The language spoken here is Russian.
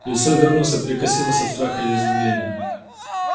лицо вернуса перекосилось от страха и изумления